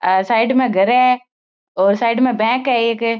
आ side में घर है और साइड में बैंक है एक।